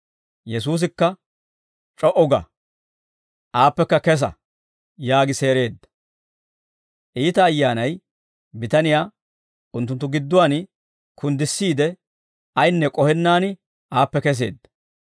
Yesuusikka, «C'o"u ga, aappekka kesa» yaagi seereedda. Iita ayyaanay bitaniyaa unttunttu gidduwaan kunddissiide ayinne k'ohennaan aappe keseedda.